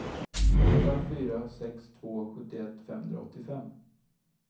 åtta fyra sex två sjuttioett femhundraåttiofem